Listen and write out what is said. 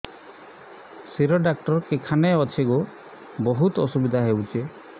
ଶିର doctor କେଖାନେ ଅଛେ ଗୋ ବହୁତ୍ ଅସୁବିଧା ହଉଚି